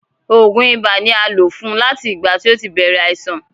Oògùn ibà ni a ń lò fún láti ìgbà tí ó ti bèrè àìsàn.